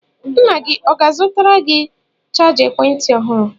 Nna gị ọ ga-azụtara gị chaja ekwentị ọhụrụ?